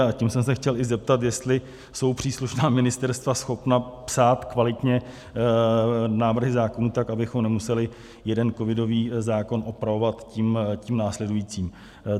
A tím jsem se i chtěl zeptat, jestli jsou příslušná ministerstva schopna psát kvalitně návrhy zákonů tak, abychom nemuseli jeden covidový zákon opravovat tím následujícím.